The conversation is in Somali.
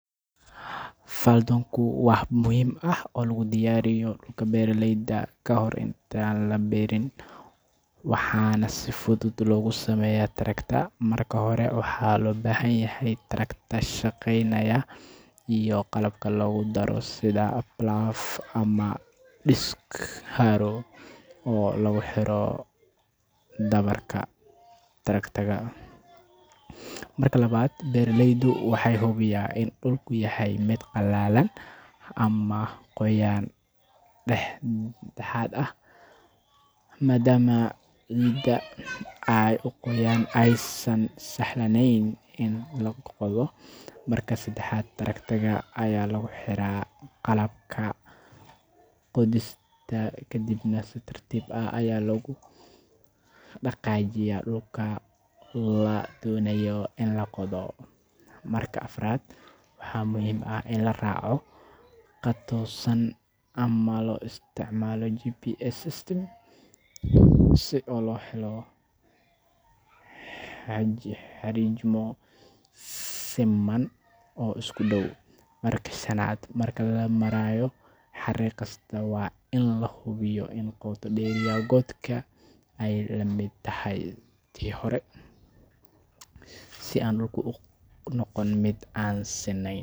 Faldoonku waa hab muhiim ah oo lagu diyaariyo dhulka beeraleyda ka hor intaan wax lagu beerin, waxaana si fudud loogu sameeyaa tractor. Marka hore, waxaa loo baahan yahay tractor shaqeynaya iyo qalabka lagu daro sida plough ama disc harrow oo lagu xiro dhabarka tractor. Marka labaad, beeraleydu waxay hubiyaa in dhulku yahay mid qallalan ama qoyaan dhexdhexaad ah, maadaama ciidda aad u qoyan aysan sahlaneyn in la qodo. Marka saddexaad, tractor ayaa lagu xiraa qalabka qodista kadibna si tartiib ah ayaa loogu dhaqaajiyaa dhulka la doonayo in la qodo. Marka afraad, waxaa muhiim ah in la raaco khad toosan ama loo isticmaalo GPS system si loo helo xariijimo siman oo isku dhow. Marka shanaad, marka la marayo xariiq kasta, waa in la hubiyaa in qoto dheerida godka ay la mid tahay tii hore si aan dhulku u noqon mid aan sinnayn.